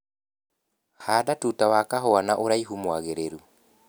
Handa tuta wa kahua na ũraihu mwagĩrĩru.